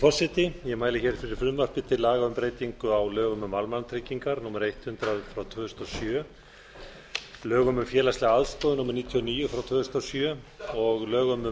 forseti ég mæli fyrir frumvarpi til laga um breytingu á lögum um almannatryggingar númer hundrað tvö þúsund og sjö lögum um félagslega aðstoð númer níutíu og níu tvö þúsund og sjö og lögum um